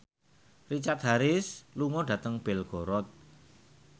Richard Harris lunga dhateng Belgorod